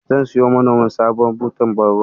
Zan siyowa manomin sabuwar butar ban ruwa.